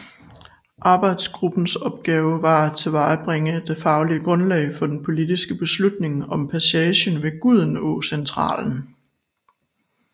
Arbejdsgruppens opgave var at tilvejebringe det faglige grundlag for den politiske beslutning om passagen ved Gudenåcentralen